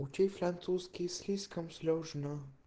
учить французский слишком сложно